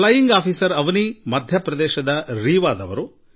flying officer Avneet ಮಧ್ಯ ಪ್ರದೇಶದವರು